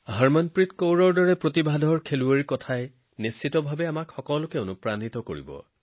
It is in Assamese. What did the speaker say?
হৰমনপ্ৰীতজীৰ দৰে প্ৰতিভাৱান খেলুৱৈৰ কথাই নিশ্চয় আপোনালোক সকলোকে অনুপ্ৰাণিত কৰিব